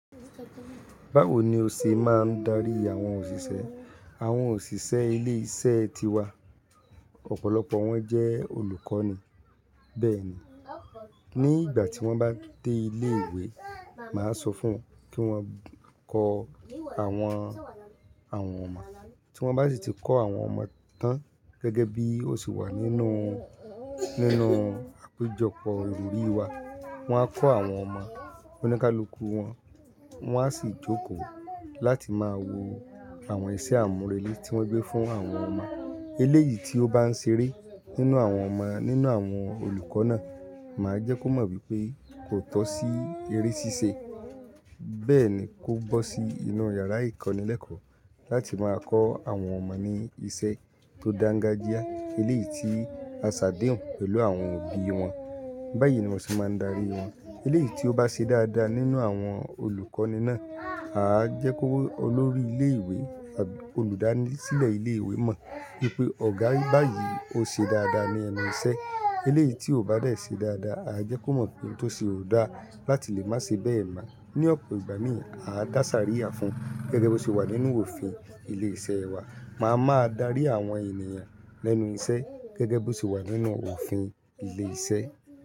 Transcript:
Báwo ni o ṣe máa ń darí àwọn òṣìṣẹ́? Àwọn òṣìṣẹ́ ilé iṣẹ́ tiwa. Ọ̀pọ̀lọpọ̀ wọn jẹ́ olùkọ́ni. Bẹ́ẹ̀ni, ní ìgbà tí wọ́n bá dé ilé ìwé, màá sọ fún wọn kí wọ́n kọ́ àwọn ọmọ, tí wọ́n bá sì ti kọ́ àwọn ọmọ tán gẹ́gẹ́ bí ó ṣe wà nínú àpéjọpọ̀ olórí wa, wọ́n á kọ́ àwọn ọmọ oníkálukú wọn, wọ́n á sì jókòó láti máa wo àwọn iṣẹ́ àmúrelé tí wọ́n gbé fún àwọn ọmọ. Eléyìí tí ó bá ń ṣeré nínú àwọn ọmọ nínú àwọn olùkọ́ náà, màá jẹ́ kó mọ̀ wípé kò tọ́ sí eré ṣíṣe. Bẹ́ẹ̀ ni kó gbọ́ sí inú yàrá ìkọ́nilẹ́kọ̀ọ́ láti máa kọ́ àwọn ọmọ ní iṣẹ́ tó dáńgájíá. Eléyìí tí a ṣàdéhùn pẹ̀lú àwọn òbí wọn. Báyìí ni mo ṣe máa ń darí wọn. Eléyìí tí ó bá ṣe dáadáa nínú àwọn olùkọ́ni náà, à á jẹ́ kó mọ̀ olórí ilé ìwé, olùdásílẹ̀ ilé ìwé mọ̀ wípé ọ̀gá rí báyìí ó ṣe dáadáa ní ẹnu iṣẹ́. Eléyìí tí ó bá rẹ̀ ṣe dáadáa, à á jẹ́ kó mọ̀ pé tó ṣe ò dáa láti lè má ṣe bẹ́ẹ̀ mọ́. Ni ọ̀pọ̀ ìgbà mi òní, à á dàsárí à fún gẹ́gẹ́ bí ó ṣe wà nínú òfin ilé iṣẹ́ wa. Màá máa darí àwọn ènìyàn lẹ́nu iṣẹ́ gẹ́gẹ́ bí ó ṣe wà nínú òfin ilé iṣẹ́.